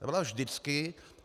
Ta byla vždycky.